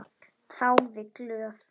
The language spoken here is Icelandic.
Þáði glöð.